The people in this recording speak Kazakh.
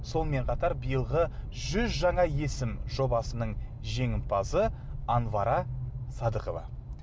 сонымен қатар биылғы жүз жаңа есім жобасының жеңімпазы анвара садыкова